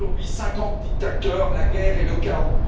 Aujourd'hui, 50 dictateurs, la guerre et le chaos...